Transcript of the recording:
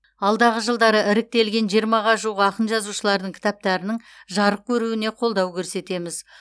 алдағы жылдары іріктелген жиырмаға жуық ақын жазушылардың кітаптарының жарық көруіне қолдау көрсетеміз